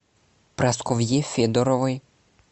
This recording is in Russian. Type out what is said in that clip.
прасковье федоровой